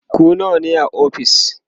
ku nawa ne a ofis?